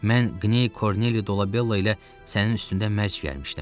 Mən Qney Korneli Dolabella ilə sənin üstündə mərc gəlmişdim.